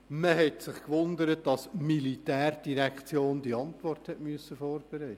Man hatte sich gewundert, dass die POM diese Antwort vorbereiten musste.